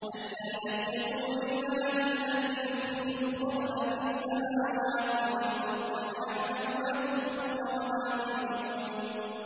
أَلَّا يَسْجُدُوا لِلَّهِ الَّذِي يُخْرِجُ الْخَبْءَ فِي السَّمَاوَاتِ وَالْأَرْضِ وَيَعْلَمُ مَا تُخْفُونَ وَمَا تُعْلِنُونَ